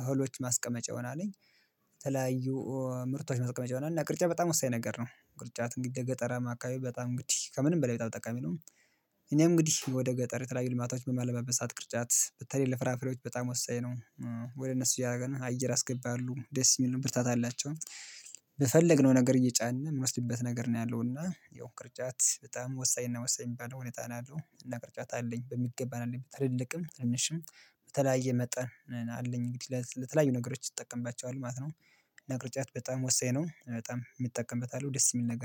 እህሎች ማስቀመጫ ይሆናል። የተለያዩ ምርቶች ማስቀመጫ ይሆናል እና ቅርጫት በጣም ወሳኝ ነገር ነው ቅርጫት እንግዲህ ለገጠራማ አካባቢ በጣም እንግድህ ከምንም በላይ በጣም ጠቃሚ ነው። እኔም እንግዲህ ወደ ገጠር የተለያዩ ልማቶች በማለማበት ሰዓት ቅርጫት በተለይ ለፍራፍሬዎች በጣም ወሳኝ ነው። ወደ እነሱ እያደረግና አየር ያስገባሉ ደስ ይሉኝ ብርታት አላቸው። በፈለግነው ነገር እየጫን እምንወስድበት ነገር ነው ያለው እና ያው ቅርጫት በጣም ወሳኝና ወሳኝ የሚባለው ሁኔታ ነው ያለው እና ቅርጫት አለኝ በሚገባ አለኝ ትልልቅም ትንንሽም በተለያየ መጠን አለኝ እንግዲህ ለተለያዩ ነገሮች እጠቀምባቸዋለሁ ማለት ነው። እና ቅርጫት በጣም ወሳኝ ነው በጣም እጠቀምበታለው ደስ የሚል ነገር